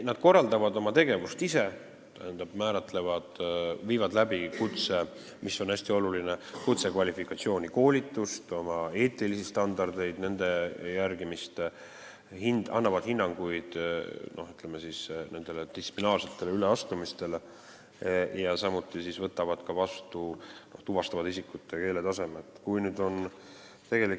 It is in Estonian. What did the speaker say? Nad korraldavad oma tegevust ise, teevad kutsekvalifikatsiooni koolitust, mis on hästi oluline, jälgivad oma eetiliste standardite järgimist, annavad hinnanguid distsiplinaarsetele üleastumistele ja samuti tuvastavad isikute keeleoskuse taset.